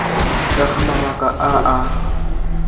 ka ga mabaka a a